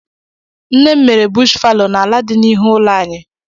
Nne m mere bush falo n'ala dị na ihu ụlọ anyị.